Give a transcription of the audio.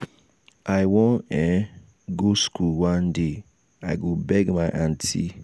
i wan um go school one one day. i go beg my aunty.